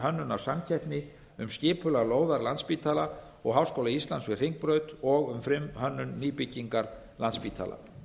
frumhönnunarsamkeppni um skipulag lóðar landspítala og háskóla íslands við hringbraut og um frumhönnun nýbyggingar landspítala